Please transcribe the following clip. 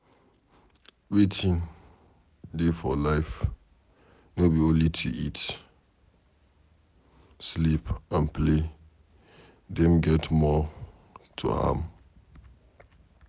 Wetin dey for life no be only to eat, sleep and play Dem get more to am